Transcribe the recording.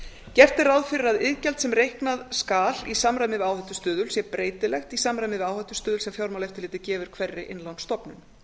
gert er ráð fyrir að iðgjald sem reikna skal í samræmi við áhættustuðul sé breytilegt í samræmi við áhættustuðul sem fjármálaeftirlitið gefur hverri innlánsstofnun